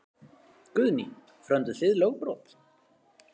Guðný: Frömduð þið lögbrot?